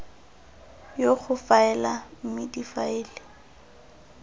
ya go faela mme difaele